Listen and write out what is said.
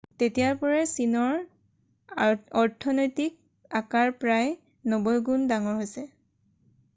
তেতিয়াৰ পৰাই চীনৰ অৰ্থনৈতিক আকাৰ প্ৰায় 90 গুণ ডাঙৰ হৈছে